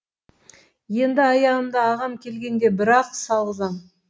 енді аяғымды ағам келгенде бір ақ салғызам